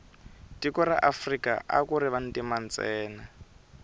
tiko ra afrika akuri vantima ntsena